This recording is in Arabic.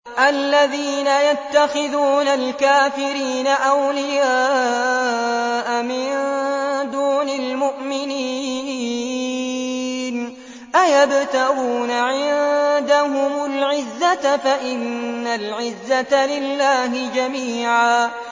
الَّذِينَ يَتَّخِذُونَ الْكَافِرِينَ أَوْلِيَاءَ مِن دُونِ الْمُؤْمِنِينَ ۚ أَيَبْتَغُونَ عِندَهُمُ الْعِزَّةَ فَإِنَّ الْعِزَّةَ لِلَّهِ جَمِيعًا